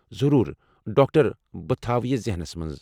ضرور، ڈاکٹر! بہٕ تھاوٕ یہٕ ذہنس منٛز۔